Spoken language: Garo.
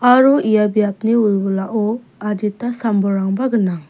aro ia biapni wilwilao adita sam-bolrangba gnang.